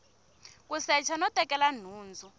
ku secha no tekela nhundzu